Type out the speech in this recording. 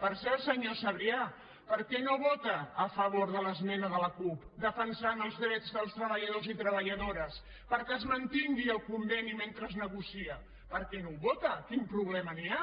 per cert senyor sabrià per què no vota a favor de l’esmena de la cup defensant els drets dels treballadors i treballadores perquè es mantingui el conveni mentre es negocia per què no ho vota quin problema hi ha